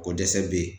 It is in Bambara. Ko dɛsɛ bɛ yen